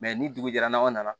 ni dugu jɛra n'anw nana